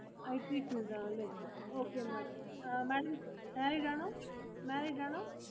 IT field ആണല്ലേ. Okay MadamMadamMarried ആണോ? Married ആണോ?